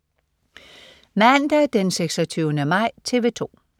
Mandag den 26. maj - TV 2: